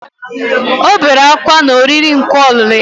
Ọ bere ákwá na oriri nkwa ọlụlụ ya